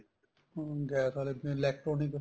ਹਮ gas ਆਲੇ electronic